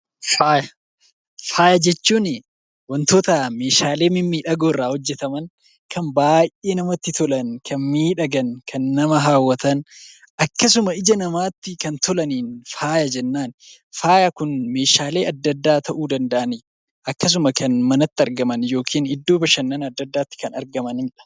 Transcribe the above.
Faaya jechuun wantoota meeshaalee mimmiidhagoo irraa hojjetaman, kan baay'ee namatti tolan, kan miidhagan, kan nama hawwatan akkasuma ija namaatti kan tolaniin faaya jennaan. Faaya kun meeshaalee adda addaa ta'uu danda'ani. Akkasuma kan manatti argaman yookiin iddoo bashannana adda addaatti kan argamanidha.